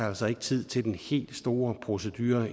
altså ikke tid til den helt store procedure